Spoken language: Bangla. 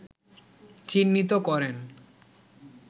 চিহ্নিত করেন